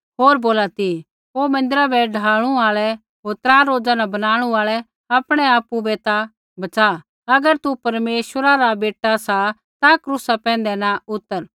होर बोला ती हे मन्दिरा बै ढाणू आल़ै होर त्रा रोज़ा न बनाणु आल़ै आपणैआपु बै ता बच़ा अगर तू परमेश्वरा रा बेटा सा ता क्रूसा पैंधै न उतर